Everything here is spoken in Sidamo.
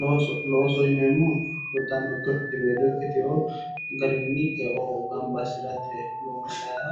looso loosoho yineemmohu garweelo ikkitewo garrinni eo gamba assirate loonsaayiiha